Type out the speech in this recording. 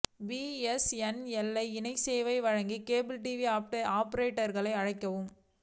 BSNL இணைய சேவை வழங்க கேபிள் டிவி ஆபரேட்டா்களுக்கு அழைப்பு